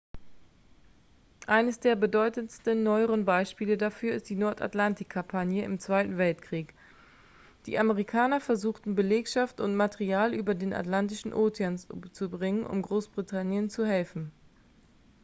eines der bedeutendsten neueren beispiele dafür ist die nordatlantik-kampagne im zweiten weltkrieg die amerikaner versuchten belegschaft und material über den atlantischen ozean zu bringen um großbritannien zu helfen